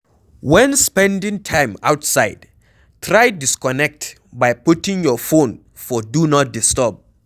When spending time outside, try disconnect by putting your phone for Do Not Disturb